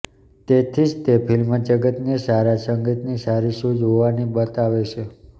તેથી જ તે ફિલ્મજગતને સારા સંગીતની સારી સૂઝ હોવાની બતાવે છે